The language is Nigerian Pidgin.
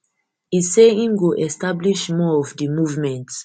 e say im go establish more of di movement